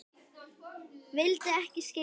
Vildi ekki skilja það.